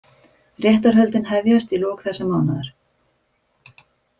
Réttarhöldin hefjast í lok þessa mánaðar